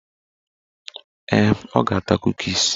Ee, ọ ga-ata kukis